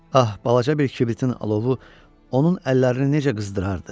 Ah, balaca bir kibritin alovu onun əllərini necə qızdırardı.